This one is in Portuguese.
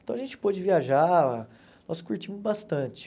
Então a gente pôde viajar, nós curtimos bastante.